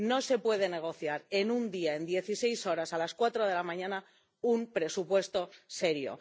No se puede negociar en un día, en dieciséis horas, a las 4 de la mañana, un presupuesto serio.